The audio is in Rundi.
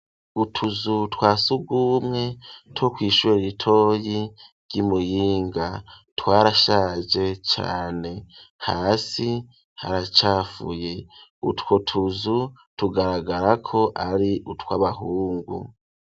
Utuzu twa surwumwe two kw'ishuri ritoyi ry'i Muyinga twarashaje cane. Hasi haracafuye, utwo tuzu tugaragara ko ari utw'abahungu.